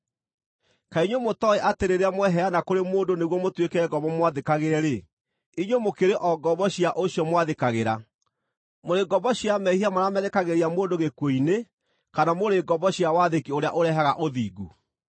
Kaĩ inyuĩ mũtooĩ atĩ rĩrĩa mweheana kũrĩ mũndũ nĩguo mũtuĩke ngombo mũmwathĩkagĩre-rĩ, inyuĩ mũkĩrĩ o ngombo cia ũcio mwathĩkagĩra: mũrĩ ngombo cia mehia marĩa merekagĩria mũndũ gĩkuũ-inĩ, kana mũrĩ ngombo cia wathĩki ũrĩa ũrehaga ũthingu?